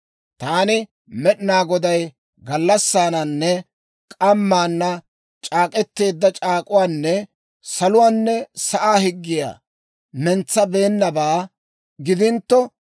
Taani Med'inaa Goday gallassaananne k'ammaana c'aak'k'eteedda c'aak'uwaanne saluwaanne sa'aa higgiyaa mintsabeennabaa gidintto,